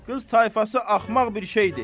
Qız tayfası axmaq bir şeydir.